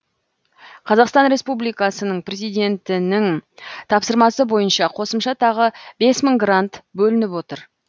қазақстан республикасының президентінің тапсырмасы бойынша қосымша тағы бес мың грант бөлініп отыр